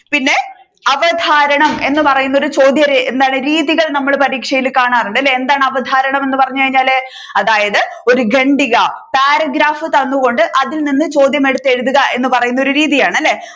പിന്നെ അവതാരണം എന്ന് പറയുന്ന ഒരു ചോദ്യ എന്താണ് രീതികൾ നമ്മൾ പരീക്ഷയിൽ കാണാറുണ്ട് അല്ലെ എന്താണ് അവതാരണം എന്ന് പറഞ്ഞു കഴിഞ്ഞാൽ അതായത് ഒരു ഖണ്ഡിക paragraph തന്നുകൊണ്ട് അതിൽ നിന്ന് ചോദ്യം എടുത്ത് എഴുതുക എന്ന് പറയുന്ന രീതിയാണ് അല്ലെ